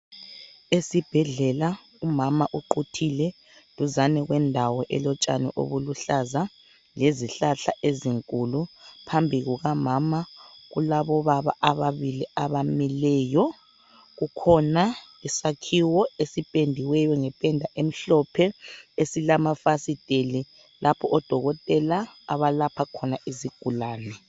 Esibhedlela umama uquthile duzane kwendawo elotshani obuluhlaza lezihlahla ezinkulu phambi kukamama kulabobaba ababili abamileyo. Kukhona isakhiwo ezipendiweyo ngependa emhlophe esilamafasiteli lapha odokotela abalapha khona izigulane.